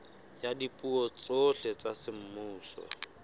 ya dipuo tsohle tsa semmuso